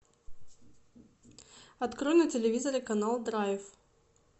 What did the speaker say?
открой на телевизоре канал драйв